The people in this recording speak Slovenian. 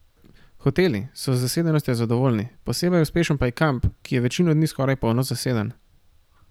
Hoteli so z zasedenostjo zadovoljni, posebej uspešen pa je kamp, ki je večino dni skoraj polno zaseden.